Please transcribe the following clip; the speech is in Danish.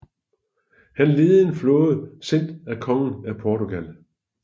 Han ledede en flåde sendt af kongen af Portugal